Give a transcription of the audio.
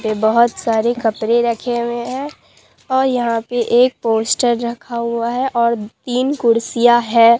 ये बहोत सारे कपरे रखे हुए हैं और यहां पे एक पोस्टर रखा हुआ है और तीन कुर्सियां है।